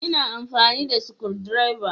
Ina amfani da sukudireba